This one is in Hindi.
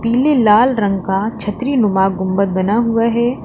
पीले लाल रंग का छतरी नुमा गुंबद बना हुआ है।